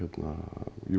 jú